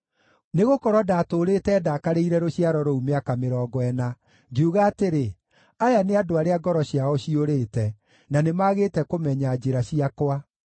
Nĩgũkorwo ndaatũũrĩte ndakarĩire rũciaro rũu mĩaka mĩrongo ĩna; ngiuga atĩrĩ, “Aya nĩ andũ arĩa ngoro ciao ciũrĩte, na nĩmagĩte kũmenya njĩra ciakwa.”